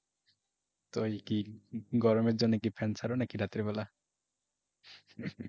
তো কি গরমের জন্য কি ফ্যান চালাও নাকি রাতের বেলা?